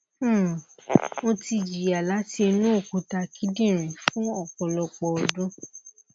um mo ti jiya lati inu okuta kidinrin fun ọpọlọpọ ọdun